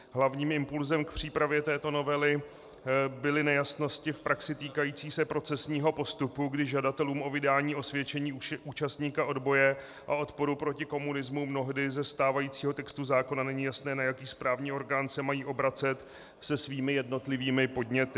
Hlavním impulsem k přípravě této novely byly nejasnosti v praxi týkající se procesního postupu, kdy žadatelům o vydání osvědčení účastníka odboje a odporu proti komunismu mnohdy ze stávajícího textu zákona není jasné, na jaký správní orgán se mají obracet se svými jednotlivými podněty.